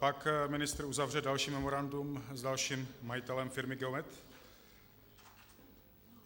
Pak ministr uzavře další memorandum s dalším majitelem firmy Geomet?